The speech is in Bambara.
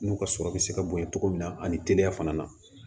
N'u ka sɔrɔ bɛ se ka bonya cogo min na ani teliya fana